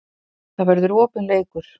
Það verður opinn leikur